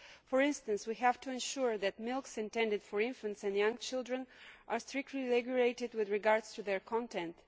For instance, we have to ensure that milks intended for infants and young children are strictly regulated with regard to their content.